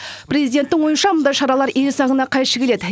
президенттің ойынша мұндай шаралар ел заңына қайшы келеді